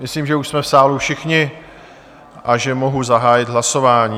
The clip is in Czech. Myslím, že už jsme v sále všichni a že mohu zahájit hlasování.